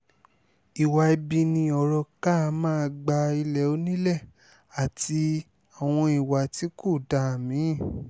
ìwà ibi ni ọ̀rọ̀ ká máa gba ilé onílé àti àwọn ìwà tí kò dáa mi-ín